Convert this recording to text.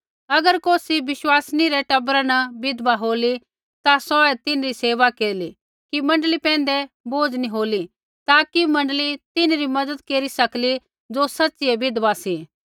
अगर कौसी विश्वासिनी रै टबरा न विधवा होली ता सौऐ तिन्हरी सेवा केरली कि मण्डली पैंधै बोझ़ नी होला ताकि मण्डली तिन्हरी मज़त केरी सकली ज़ो सैच़ियै विधवा सी